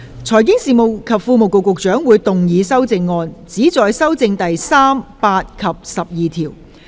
財經事務及庫務局局長會動議修正案，旨在修正第3、8及12條。